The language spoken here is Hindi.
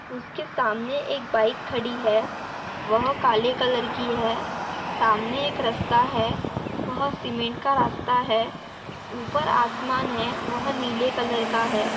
उसके सामने एक बाइक खड़ी है वह काले कलर की है सामने एक रस्ता है वह सीमेंट का रास्ता है ऊपर आसमान है वह नीले कलर का है।